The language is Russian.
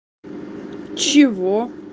чего